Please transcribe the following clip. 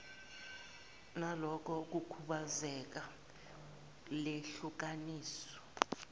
naloko kukhubazeka lehlukaniswe